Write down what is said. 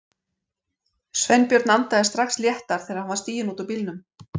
Sveinbjörn andaði strax léttar þegar hann var stiginn út úr bílnum.